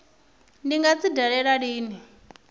ndi nga dzi dalela lini